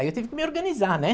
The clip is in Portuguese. Aí eu tive que me organizar, né?